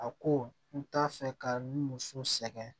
A ko n t'a fɛ ka n muso sɛgɛn